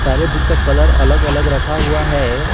हर एक बुक का कलर अलग अलग रखा हुआ है।